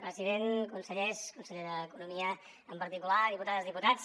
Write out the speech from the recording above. president consellers conseller d’economia en particular diputades i diputats